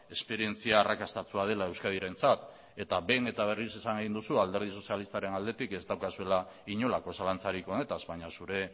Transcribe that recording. esperientzia arrakastatsua dela euskadirentzat eta behin eta berriz esan egin duzu alderdi sozialistaren aldetik ez daukazuela inolako zalantzarik honetaz baina zure